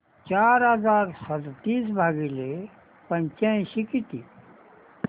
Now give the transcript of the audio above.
चार हजार सदतीस भागिले पंच्याऐंशी किती